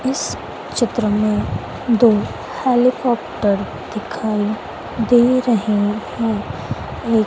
इस चित्र में दो हेलीकॉप्टर दिखाई दे रहे हैं एक--